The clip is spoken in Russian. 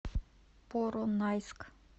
поронайск